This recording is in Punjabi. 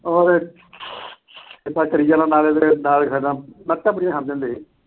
ਉਹ ਦੇਖ ਨਾਲ ਖੜੇ ਰਹਿਣਾ, ਲੱਤਾਂ ਬੜੀਆਂ ਖਾਂਦੇ ਸੀ ਅਸੀਂ